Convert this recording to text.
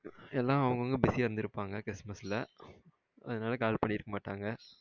எல்லாம் அவங்க அவங்க busy அஹ இருந்துருபாங்க கிருஸ்மஸ்ல அதுனால கால் பண்ணிருக்க மாட்டங்க.